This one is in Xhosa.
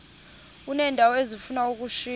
uneendawo ezifuna ukushiywa